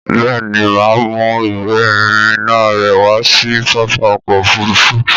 Bẹ́ẹ̀ ni, mà á mú ìwé-ìrìnnà rẹ wá sí pápá ọkọ̀-òfurufú.